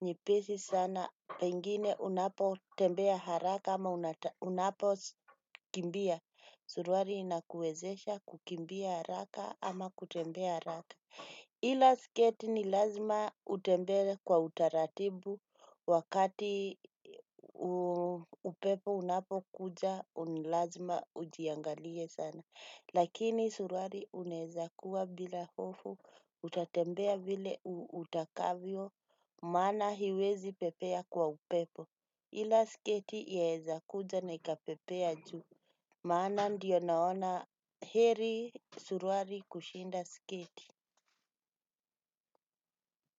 nyepesi sana pengine unapotembea haraka ama unapokimbia. Suruari inakuezesha kukimbia haraka ama kutembea haraka. Hila sketi ni lazima utembee kwa utaratibu wakati upepo unapo kuja unilazima ujiangalie sana. Lakini surwari unaeza kuwa bila hofu utatembea vile utakavyo maana hiwezi pepea kwa upepo. Hila sketi yaeza kuja na ikapepea juu maana ndiyo naona heri surwari kushinda sketi.